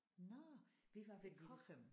Nåh vi var ved Cochem